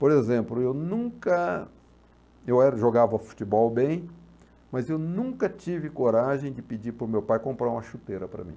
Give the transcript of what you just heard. Por exemplo, eu nunca, eu era jogava futebol bem, mas eu nunca tive coragem de pedir para o meu pai comprar uma chuteira para mim.